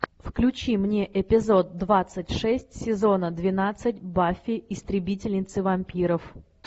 включи мне эпизод двадцать шесть сезона двенадцать баффи истребительницы вампиров